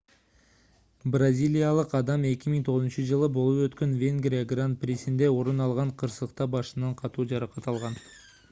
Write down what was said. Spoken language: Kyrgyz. бразилиялык адам 2009-жылы болуп өткөн венгрия гран-присинде орун алган кырсыкта башынан катуу жаракат алган